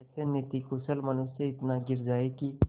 ऐसा नीतिकुशल मनुष्य इतना गिर जाए कि